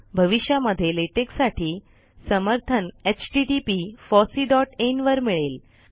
भविष्यामध्ये लेटेक साठी समर्थन httpfosseein वर मिळेल